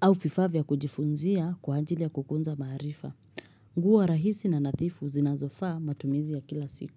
au vifaa vya kujifunzia kwa ajili ya kukuza maarifa. Huwa rahisi na nadhifu zinazofaa matumizi ya kila siku.